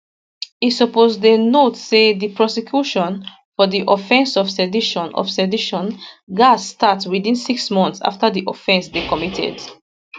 e suppose dey notee say di prosecution for di offence of sedition of sedition gatz start within six months afta di offence dey committed